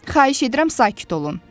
Xahiş edirəm, sakit olun.